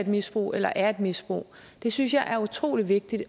misbrug eller er misbrug det synes jeg er utrolig vigtigt